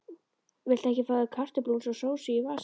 Viltu ekki fá þér kartöflumús og sósu í vasann líka?